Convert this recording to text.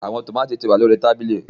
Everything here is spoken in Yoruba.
Awọn tomati ti wa ni lori tabili.